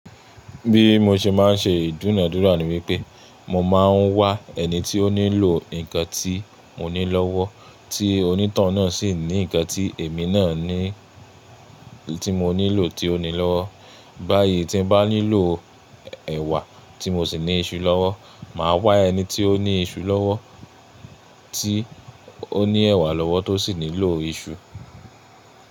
Bí mo ṣe ma ń ṣe ìdúnadúrà ni wípé mo ma ń wá ẹni tí ó nílò nǹkan tí mo ní lọ́wọ́, tí onítàn náà sì ní nǹkan tí èmi náà ní tí mo nílò tí ó ní lọ́wọ́. Báyìí tí mo bá nílò ẹ̀wà tí mo sì ní iṣu lọ́wọ́, màá wá ẹni tí ó ní iṣu lọ́wọ́ tí ó ní ẹ̀wà lọ́wọ́ tó sì nílò iṣu.